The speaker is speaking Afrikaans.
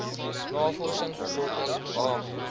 navorsing lötter h